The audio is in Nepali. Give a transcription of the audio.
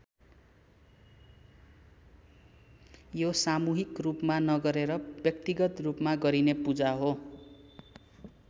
यो सामूहिक रूपमा नगरेर व्यक्तिगत रूपमा गरिने पूजा हो।